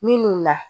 Minnu na